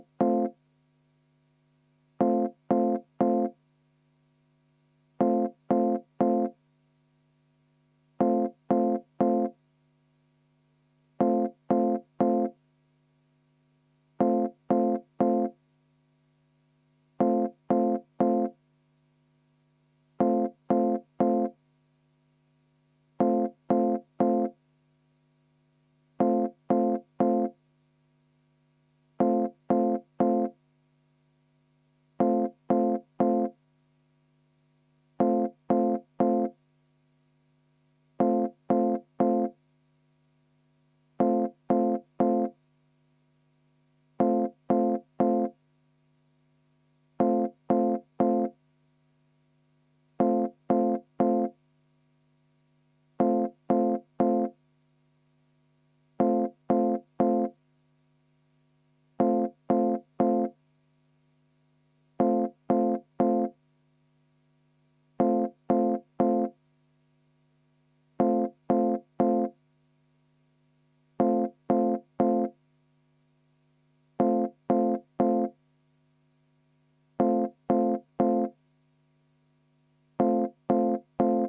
V a h e a e g